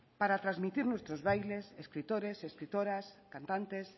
para trasmitir nuestros bailes escritores escritoras cantantes